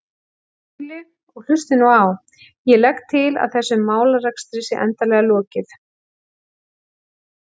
Skúli, og hlustið nú á: Ég legg til að þessum málarekstri sé endanlega lokið.